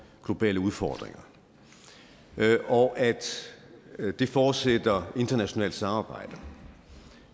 globale udfordringer og at det forudsætter internationalt samarbejde